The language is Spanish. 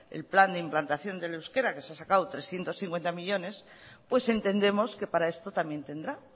el plan de implantación del euskera que se ha sacado trescientos cincuenta millónes pues entendemos que para esto también tendrá